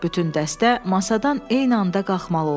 Bütün dəstə masadan eyni anda qalmalı oldu.